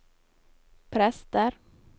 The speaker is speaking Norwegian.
prester